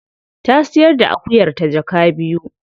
Ta siyar da akuyarta jaka biyu.